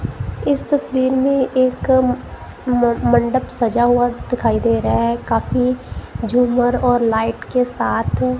इस तस्वीर में एक म मंडप सजा हुआ दिखाई दे रहा है काफी झूमर और लाइट के साथ--